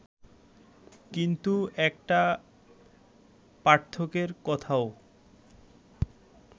কিন্তু একটা পার্থক্যের কথাও